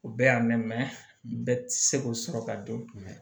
O bɛɛ y'a mɛn bɛɛ tɛ se k'o sɔrɔ ka don kun jumɛn